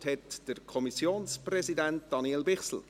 Das Wort hat der Kommissionspräsident, Daniel Bichsel.